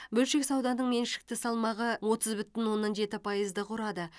бөлшек сауданың меншікті салмағы отыз бүтін оннан жеті пайызды құрады